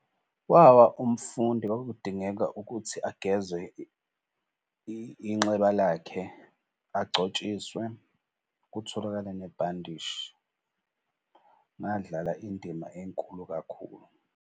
Wawa umfundi kwakudingeka ukuthi ageze inxeba lakhe, agcotshiswe kutholakale nebhandishi. Ngadlala indima enkulu kakhulu.